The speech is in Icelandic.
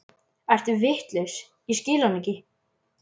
Ertu vitlaus, ég skil hann ekki